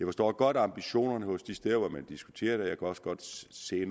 forstår godt ambitionerne de steder hvor man diskuterer det også godt se